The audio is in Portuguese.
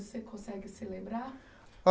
Você consegue se lembrar?